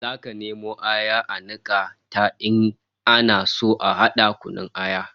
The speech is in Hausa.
Zaka nemo aya a nika ta in ana so a hada kunun aya